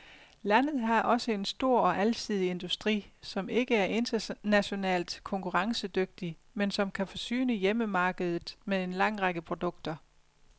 Landet har også en stor og alsidig industri, som ikke er internationalt konkurrencedygtig, men som kan forsyne hjemmemarkedet med en lang række produkter.